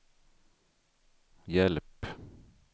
hjälp